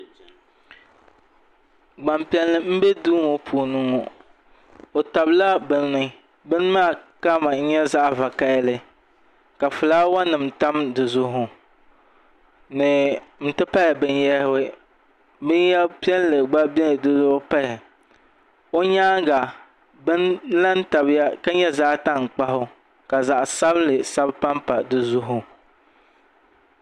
Gbanpiɛlli n bɛ duu ŋo puuni ŋo o tabila bini bin maa kama nyɛ zaɣ vakaɣali ka fulaawa nim tam di zuɣu n ti pahi binyahari binyɛri piɛlli gba bɛ di zuɣu paya o nyaanga bin lahi tamya ka nyɛ zaɣ tankpaɣu ka zaɣ sabinli sabi panpa di zuɣu